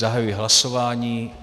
Zahajuji hlasování.